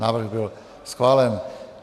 Návrh byl schválen.